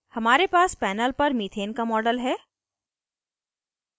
हमारे पास पैनल पर मीथेन का मॉडल है